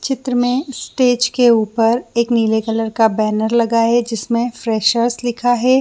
चित्र में स्टेज के ऊपर एक नीले कलर का बैनर लगाया है जिसमे फ्रेशर्स लिखा है।